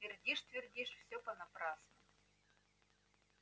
твердишь твердишь все понапрасну